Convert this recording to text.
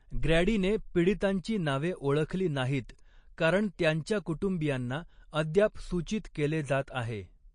ग्रॅडीने पीडितांची नावे ओळखली नाहीत, कारण त्यांच्या कुटुंबियांना अद्याप सूचित केले जात आहे.